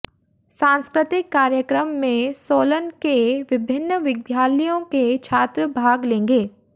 सांस्कृतिक कार्यक्रम में सोलन के विभिन्न विद्यालयों के छात्र भाग लेंगे